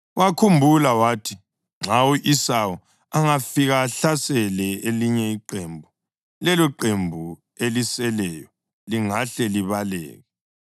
Wakhumbula wathi, “Nxa u-Esawu angafika ahlasele elinye iqembu, leloqembu eliseleyo lingahle libaleke.”